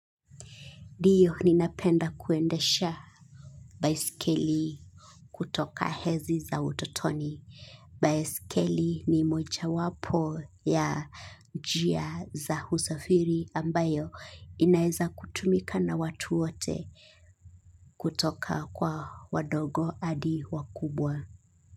Ndiyo ninapenda kuendesha baisikeli kutoka enzi za utotoni. Baisikeli ni moja wapo ya njia za usafiri ambayo inaweza kutumika na watu wote kutoka kwa wadogo hadi wakubwa.